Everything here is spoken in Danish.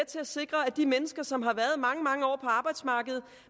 til at sikre at de mennesker som har været mange mange år på arbejdsmarkedet